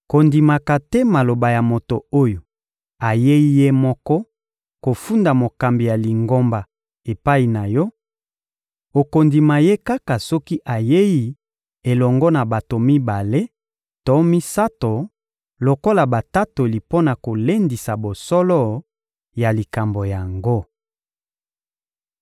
Kondimaka te maloba ya moto oyo ayei ye moko kofunda mokambi ya Lingomba epai na yo; okondima ye kaka soki ayei elongo na bato mibale to misato lokola batatoli mpo na kolendisa bosolo ya likambo yango.